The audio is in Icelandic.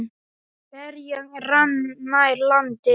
Ferjan rann nær landi.